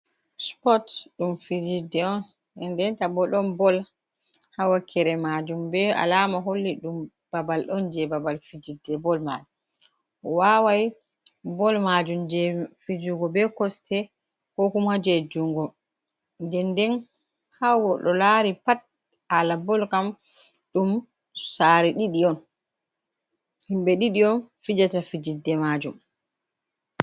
Spot ɗum fijidde on, ndenta bo ɗon bol hawakere majum be alama holli ɗum babal on je babal fijidde bol mai, wawai bol majum je fijugo be kosɗe, ko kumajejungo, nden nden ha goɗɗo lari pat hala bol kam, ɗum sare ɗiɗi on, himɓe ɗiɗi on fijata fijidde majum.